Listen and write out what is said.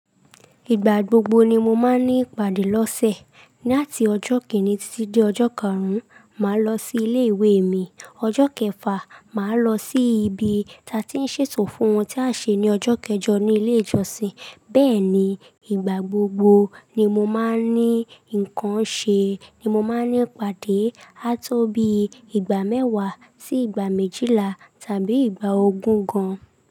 Ìgbà gbogbo ni mo máa ń ní ìpàdé lọ́sẹ̀. Láti ọjọ́ kíni títí dé ọjọ́ karùn-ún, màá lọ sí ilé ìwé mi. Ọjọ́ kẹfà, màá lọ sí ibi tí a ti ń ṣètò fún ohun tí a ṣe ní ọjọ́ kẹjọ ní ilé ìjọsìn. Bẹ́ẹ̀ ni, ìgbà gbogbo ni mo máa ń ní nǹkan ṣe ni mo máa ń ní ìpàdé. A tó bí ìgbà mẹ́wàá sí ìgbà méjìlá tàbí ìgbà ogún gan.